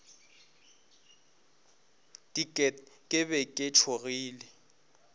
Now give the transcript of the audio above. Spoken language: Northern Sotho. diket ke be ke tšhogile